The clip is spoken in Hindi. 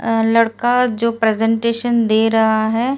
लड़का जो प्रजेंटेशन दे रहा है।